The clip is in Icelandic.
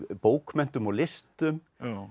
bókmenntum og listum